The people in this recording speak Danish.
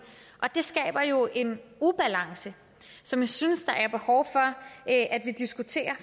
det skaber jo en ubalance som jeg synes der er behov for at vi diskuterer